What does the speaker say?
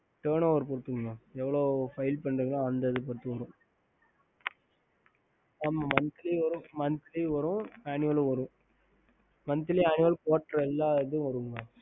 ஹம்